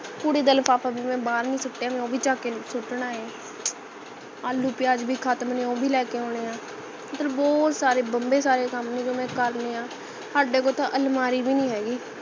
ਕੁੜੇ ਦਾ ਲਿਫ਼ਾਫ਼ਾ ਭੀ ਮੈਂ ਬਾਹਰ ਨਹੀਂ ਸੁਟਿਆ ਮੈਂ ਉਹ ਭੀ ਚੱਕ ਕੇ ਸੁੱਟਣਾ ਹੈ ਆਲੂ ਪਿਆਜ਼ ਭੀ ਖਤਮ ਨੇ ਉਹ ਭੀ ਲੈਕੇ ਆਨੇ ਹੈ ਮਤਲਬ ਬਹੁਤ ਸਾਰੇ ਕੱਮ ਨੇ ਜੋ ਮੈਂ ਕਰਨੇ ਹੈ ਸਾਡੇ ਕੋਲ ਤਾਂ ਅਲਮਾਰੀ ਭੀ ਨਹੀਂ ਹੇਗੀ